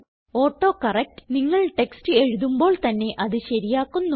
autocorrect നിങ്ങൾ text എഴുതുമ്പോൾ തന്നെ അത് ശരിയാക്കുന്നു